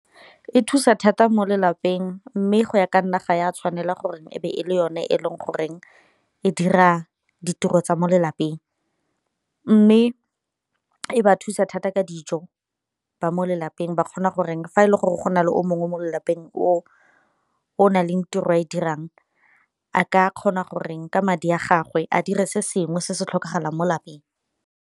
E thusa thata mo lelapeng mme go ya ka nna ga ya tshwanela gore e be e le yone e le goreng e dira ditiro tsa mo lelapeng, mme e ba thusa thata ka dijo ba mo lelapeng ba kgona gore fa e le gore go na le o mongwe mo lelapeng o o na leng tiro e e dirang, a ka kgona gore ke madi a gagwe a dire se sengwe se se tlhokagalang mo lapeng.